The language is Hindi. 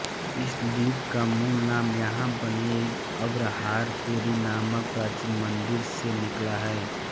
इस द्वीप का मूल नाम यहां बने एक अग्रहारपुरी नामक प्राचीन मंदिर से निकला है